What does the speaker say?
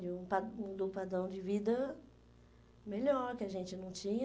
De um pa de um padrão de vida melhor, que a gente não tinha.